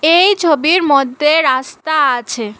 এই ছবির মদ্যে রাস্তা আছে।